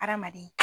Hadamaden